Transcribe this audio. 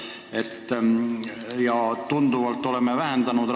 Oleme raskmetallide õhku paiskamist tunduvalt vähendanud.